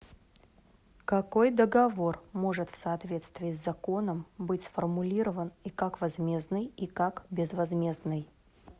какой договор может в соответствии с законом быть сформулирован и как возмездный и как безвозмездный